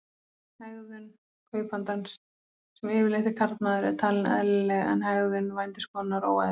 Hegðun kaupandans, sem yfirleitt er karlmaður, er talin eðlileg en hegðun vændiskonunnar óeðlileg.